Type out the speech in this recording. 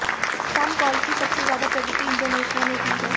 spam call की सबसे ज्यादा प्रगति इंडोनेशिया ने की है